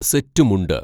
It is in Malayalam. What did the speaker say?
സെറ്റു മുണ്ട്